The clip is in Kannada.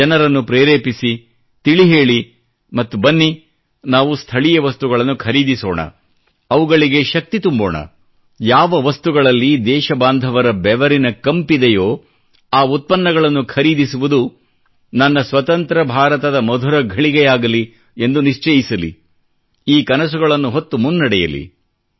ಜನರನ್ನು ಪ್ರೇರೆಪಿಸಿ ತಿಳಿ ಹೇಳಿ ಮತ್ತು ಬನ್ನಿ ನಾವು ಸ್ಥಳೀಯ ವಸ್ತುಗಳನ್ನು ಖರೀದಿಸೋಣ ಅವುಗಳಿಗೆ ಶಕ್ತಿ ತುಂಬೋಣ ಯಾವ ವಸ್ತುಗಳಲ್ಲಿ ದೇಶಬಾಂಧವರ ಬೆವರಿನ ಕಂಪಿದೆಯೋ ಆ ಉತ್ಪನ್ನಗಳನ್ನು ಖರೀದಿಸುವುದು ನನ್ನ ಸ್ವತಂತ್ರ ಭಾರತದ ಮಧುರ ಘಳಿಗೆಯಾಗಲಿ ಎಂದು ನಿಶ್ಚಯಿಸಲಿ ಹಾಗೂ ಈ ಕನಸುಗಳನ್ನು ಹೊತ್ತು ಮುನ್ನಡೆಯಲಿ